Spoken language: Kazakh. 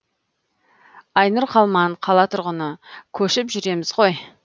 айнұр қалман қала тұрғыны көшіп жүреміз ғой